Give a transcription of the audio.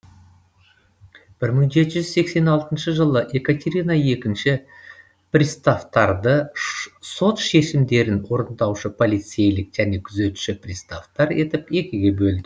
мың жеті жүз сексен алтыншы жылы екатерина екінші приставтарды сот шешімдерін орындаушы полицейлік және күзетші приставтар етіп екіге бөлді